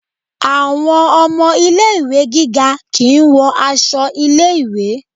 Àwọn ọmọ ilé ìwé gíga kìí wọ aṣọ ilé ìwé.